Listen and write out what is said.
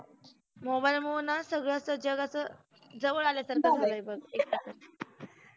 mobile मुळ ना सगळ अस जगाचं जवळ आल्यासारख झालय बघ